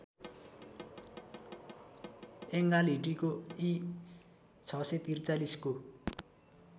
यङ्गालहिटीको इ ६४३ को